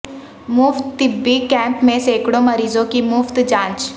مفت طبی کیمپ میں سیکڑوں مریضوں کی مفت جانچ